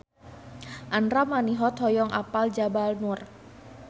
Andra Manihot hoyong apal Jabal Nur